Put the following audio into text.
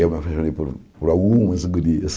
Eu me apaixonei por por algumas gurias.